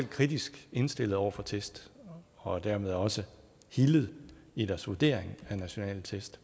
kritisk indstillet over for test og dermed også hildet i deres vurdering af nationale test